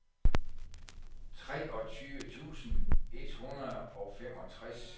treogtyve tusind et hundrede og femogtres